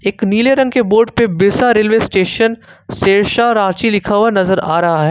एक नीले रंग के बोर्ड पर बिरसा रेलवे स्टेशन सिरसा रांची लिखा हुआ नजर आ रहा है।